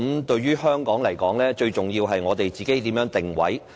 對於香港來說，最重要的是我們如何定位。